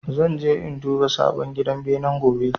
Zan je in duba sabon gidan benen gobe